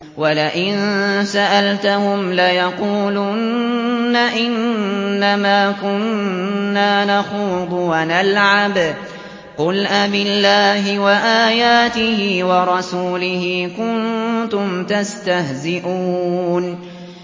وَلَئِن سَأَلْتَهُمْ لَيَقُولُنَّ إِنَّمَا كُنَّا نَخُوضُ وَنَلْعَبُ ۚ قُلْ أَبِاللَّهِ وَآيَاتِهِ وَرَسُولِهِ كُنتُمْ تَسْتَهْزِئُونَ